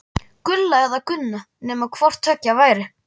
Gulla eða Gunna, nema hvort tveggja væri.